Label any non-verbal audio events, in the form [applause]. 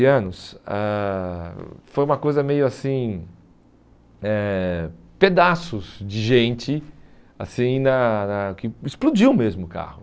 [unintelligible] anos, ãh foi uma coisa meio assim eh, pedaços de gente, assim, na na que explodiu mesmo o carro.